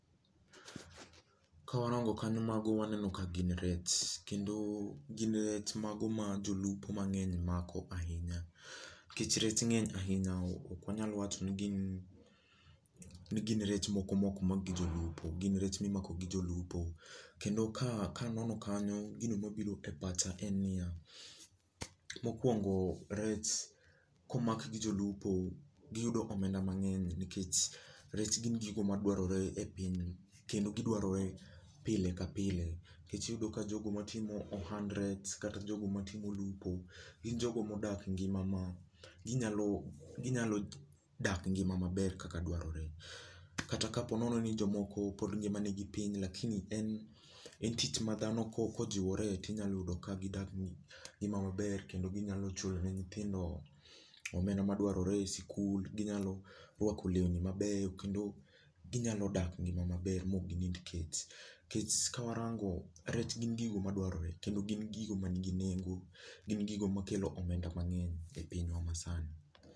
Ka warango kanyo, mago waneno ka gin rech. Kendo gin rech mago ma jolupo mangény mako ahinya. Nikech rech ngény ahinya ok wanyal wacho ni gin, ni gin rech moko ma okmak gi jolupo. Gin rech ma imako gi jolupo. Kendo ka ka anono kanyo gino mabiro e pacha en niya, mokwongo rech ka omak gi jolupo giyudo omenda mangény nikech rech gin gigo madwarore e piny. Kendo gidwarore pile ka pile. Nikech iyudo ka jogo matimo ohand rech, kata jogo matimo lupo, gin jogo ma odak ngima ma, ginyalo, ginyalo dak ngima maber kaka dwarore. Kata ka po nono ni jomoko pod ni mani gi piny lakini en en tich ma dhano ka ka ojiwore tinyalo yudo ka gidak ngima maber kendo ginyalo chulo ne nyithindo omenda ma dwarore ei sikul. Ginyalo rwako lewni mabeyo. Kendo ginyalo dak ngima maber ma ok ginind kech. Nikech ka warango rech gin gigo madwarore kendo gin gigo ma nigi nengo. Gin gigo ma kelo omenda mangény e pinywa ma sani.